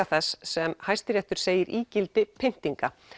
þess sem Hæstiréttur segir ígildi pyntinga